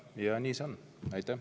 Ja nii ongi.